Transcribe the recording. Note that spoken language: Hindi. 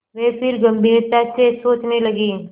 वे फिर गम्भीरता से सोचने लगे